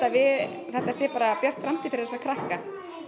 það sé björt framtíð fyrir þessa krakka